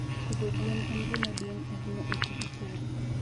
Pidho gwen en gima duong' ahinya e tij pur.